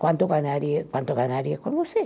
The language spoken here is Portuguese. Quanto ganharia, quanto ganharia com você